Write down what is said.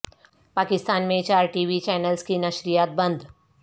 پاکستان میں چار T V channels کی نشریات بند